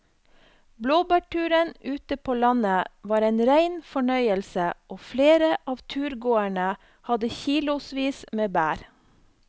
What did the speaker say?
Blåbærturen ute på landet var en rein fornøyelse og flere av turgåerene hadde kilosvis med bær.